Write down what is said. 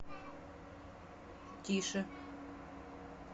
тише